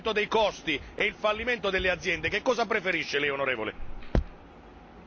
Tra l'aumento dei costi e il fallimento delle aziende, che cosa preferisce Lei, onorevole?